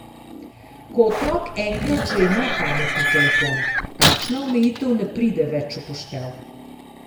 Ko otrok enkrat že ima pametni telefon, takšna omejitev ne pride več v poštev.